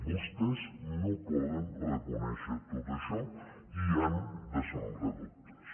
vostès no poden reconèixer tot això i han de sembrar dubtes